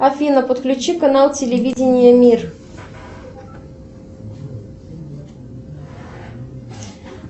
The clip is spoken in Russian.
афина подключи канал телевидения мир